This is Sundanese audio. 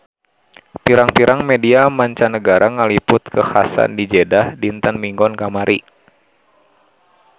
Pirang-pirang media mancanagara ngaliput kakhasan di Jeddah dinten Minggon kamari